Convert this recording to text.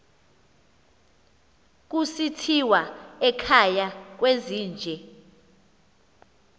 kusithiwa ekhaya kwezinje